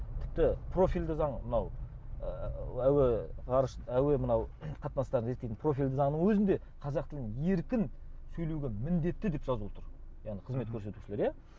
тіпті профильді заң мынау ы әуе ғарыш әуе мынау қатынастарын реттейтін профильді заңның өзінде қазақ тілін еркін сөйлеуге міндетті деп жазылып тұр яғни қызмет көрсетушілер иә